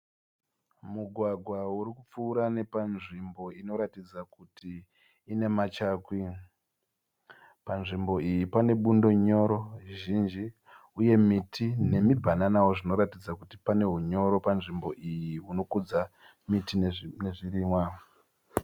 Mugwa uri kupfuura nepanzvimbo inoratidza kuti pane machakwi. Panzvimbo iyi pane bundo nyoro zhinji uye miti nemibhananawo zvinoratidza kuti pane hunyoro panzvimbo iyi hunokudza miti nezvirimwa.